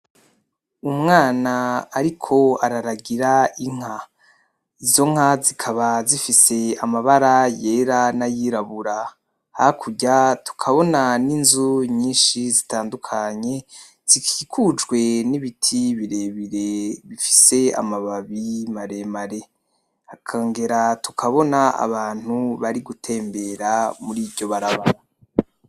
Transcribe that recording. Umwana ariko araragira inka. Izo nka zikaba zifise amabara yera n'ayirabura. Hakurya tukabona n'inzu nyinshi zitandukanye zikikujwe n'ibiti birebire bifise amababi maremare .Tukongera tukabona abantu bari gutembera muriryo barabara.